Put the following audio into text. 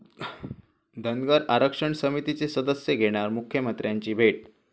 धनगर आरक्षण समितीचे सदस्य घेणार मुख्यमंत्र्यांची भेट